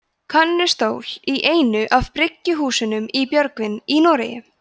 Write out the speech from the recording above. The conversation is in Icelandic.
könnustól í einu af bryggjuhúsunum í björgvin í noregi